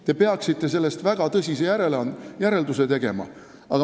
Te peaksite sellest väga tõsise järelduse tegema.